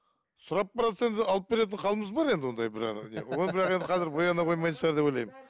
сұрап баратса енді алып беретін халіміз бар енді ондай бір жағынан ол бірақ енді қазір бояна қоймайтын шығар деп ойлаймын